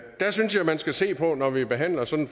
der synes jeg at man skal se på når vi behandler sådan